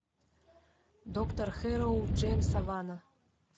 доктор хэрроу джеймса вана